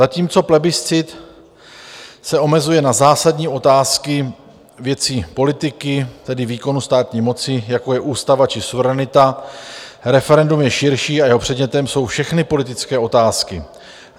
Zatímco plebiscit se omezuje na zásadní otázky věcí politiky, tedy výkonu státní moci, jako je ústava či suverenita, referendum je širší a jeho předmětem jsou všechny politické otázky.